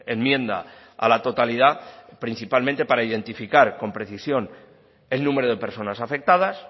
enmienda a la totalidad principalmente para identificar con precisión el número de personas afectadas